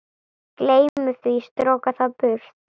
Gleymi því, stroka það burt.